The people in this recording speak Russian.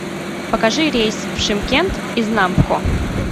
покажи рейс в шымкент из нампхо